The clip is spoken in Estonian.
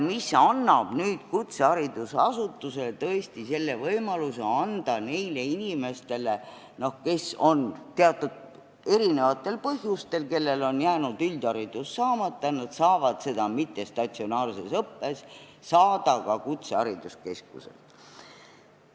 Sellega antakse kutseharidusasutusele tõesti võimalus anda üldharidus neile inimestele, kellel see on erinevatel põhjustel jäänud saamata, nüüd saavad nad selle omandada mittestatsionaarses õppes ka kutsehariduskeskuses.